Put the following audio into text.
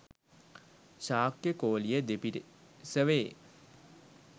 Shakya Koliya දෙපිරිසවේ.